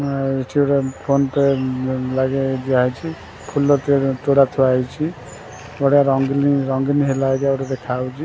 ଏହିଟି ଗୋଟେ ଫୋନ୍-ପେ ଲାଗି ଦିଆହେଇଛି ଫୁଲ ତୁଡ଼ା ଥୁଆ ହେଇଛି ବଢିଆ ରଙ୍ଗୀନ ରଙ୍ଗୀନ ହେଲା ଭଳିଆ ଦେଖା ଯାଉଛି।